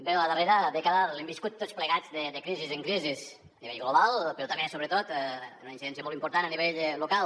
bé la darrera dècada l’hem viscuda tots plegats de crisis en crisis a nivell global però també sobretot amb una incidència molt important a nivell local